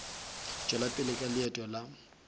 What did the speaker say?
tšwela pele ka leeto la